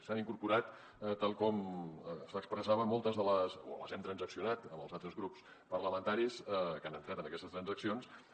s’hi han incorporat tal com s’expressava moltes o les hem transaccionat amb els altres grups parlamentaris que han entrat en aquestes transaccions